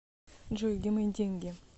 джой где мои деньги